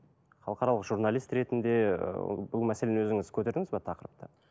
халықаралық журналист ретінде ыыы бұл мәселені өзіңіз көтердіңіз бе тақырыпты